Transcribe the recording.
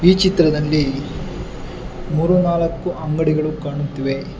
ಈ ಚಿತ್ರದಲ್ಲಿ ಮೂರು ನಾಲಕ್ಕು ಅಂಗಡಿಗಳು ಕಾಣುತ್ತಿವೆ.